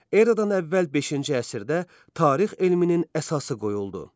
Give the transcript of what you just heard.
Eradan əvvəl beşinci əsrdə tarix elminin əsası qoyuldu.